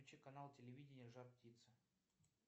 включи канал телевидения жар птица